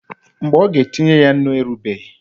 Mgbe ọ ga-etinye ya nnu erubeghị.